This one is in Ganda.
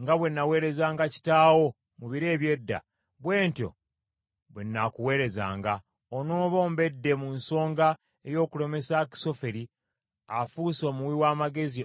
nga bwe naweerezanga kitaawo mu biro eby’edda, bwe ntyo bwe nnaakuweerezanga,’ onooba ombedde mu nsonga ey’okulemesa Akisoferi, afuuse omuwi w’amagezi owa Abusaalomu.